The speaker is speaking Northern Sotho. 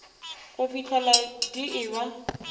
go fihlela di e ba